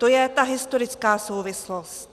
To je ta historická souvislost.